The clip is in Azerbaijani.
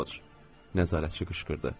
Roc, nəzarətçi qışqırdı.